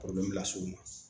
las'o ma